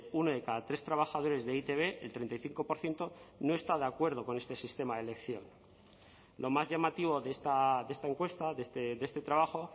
uno de cada tres trabajadores de e i te be el treinta y cinco por ciento no está de acuerdo con este sistema de elección lo más llamativo de esta encuesta de este trabajo